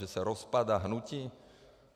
Že se rozpadá hnutí?